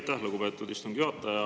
Aitäh, lugupeetud istungi juhataja!